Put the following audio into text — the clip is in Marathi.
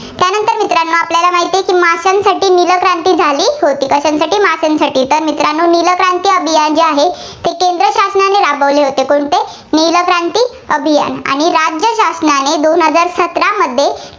कशांसाठी माशांसाठी. तर मित्रांनो नील क्रांती अभियान जे आहे, ते केंद्र शासनाने राबवले होते. कोणते नील क्रांती अभियान. आणि राज्य शासनाने दोन हजार सतरामध्ये